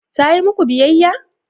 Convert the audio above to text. Ta yi muku biyayya?